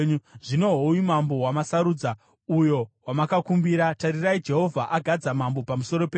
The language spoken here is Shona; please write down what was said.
Zvino hoyu mambo wamasarudza, uyo wamakakumbira; tarirai, Jehovha agadza mambo pamusoro penyu.